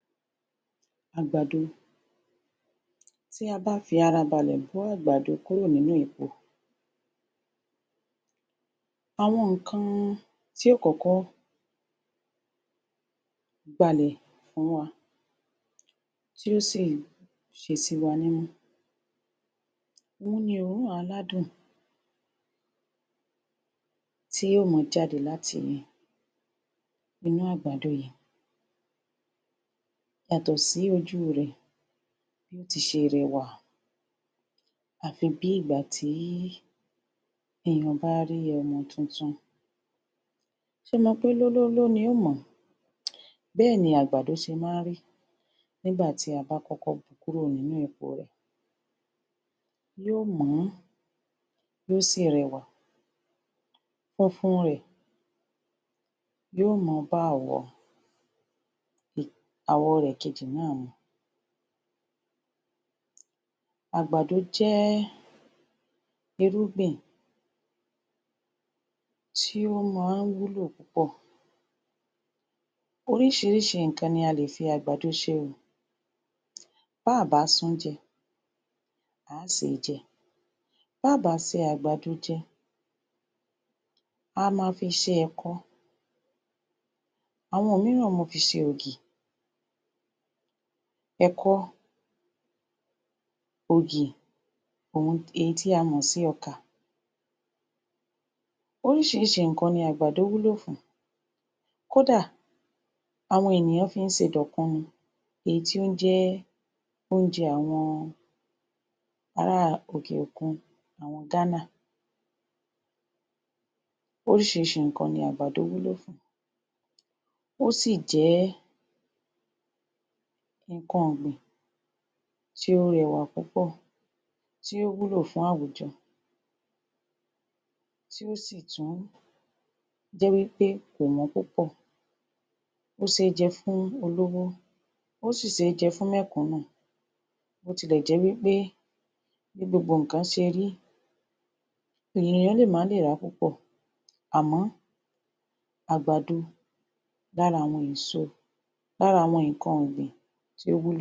Àgbàdo Tí a bá fi arabalẹ̀ bo àgbàdo kúrò nínú èpo, àwọn ǹnkan tí yóò kọ́kọ́ gbá lẹ̀ ni òórùn tí yóò si ṣe sí wa nímú, òun ni òórùn aládùn tí yòó máa jáde láti inú àgbàdo yìí, yàtọ̀ sí ojú rẹ̀ ti ṣe rewà, à fi bí ìgbà tí èèyàn bá rí ọmọ tuntun. ṣo mọ̀ pé lólóló ni yòó mọ̀ọ́,? bẹ́ẹ̀ ni àgbàdo ṣe máa ń rí nígbà tí a bá kọ́kọ́ bo kúrọ̀ nínú èpo rẹ̀, yó mọ̀ọ́, yóò si rẹwà, funfun rẹ̀ yọ̀ó mọ̀ọ́ bá? àwọ̀ kejì rẹ̀ nàá mu. Àgbàdo jẹ́ irúgbìn tí ó máa ń wúlò púpọ̀, oríṣìíríṣìí ǹnkan ni a lè fi àgbàdo se o, bá à bá sun-ún jẹ, à á se jẹ bá à bá se àgbàdo jẹ, a máa fi ṣe ẹ̀kọ, àwọn mìíràn máa fi ṣe ògì, ẹ̀kọ, ògì, èyí tí a mọ̀ sí ọkà. oríṣìíríṣìí ǹnkan ni àgbàdo wúlò fún, kódà àwọn ènìyàn fi ń ṣe dọ̀kunu, èyí tí ó jẹ́ oúnjẹ àwọn ara òkè òkun, àwọn Ghana. oríṣìíríṣìí ǹnkan ni àgbàdo wúlò fún, ó sì jẹ́ ǹnkan ọ̀gbìn tí ó rẹwà púpọ̀, í ó wúlò fún àwùjọ, tí ó sì tún jẹ́ wí pé kò wọ́n púpọ̀, ó ṣé jẹ fún olówó, ó sì ṣé jẹ fún mẹ̀kúnù, bó ti lè jẹ́ wí pé bí gbogbo ǹnkan ṣe rí, èèyàn lè máa le ra púpọ̀ àmọ́ àgbàdo lára àwọn èso lára àwọn ǹnkan ọ̀gbìn tó wúlò.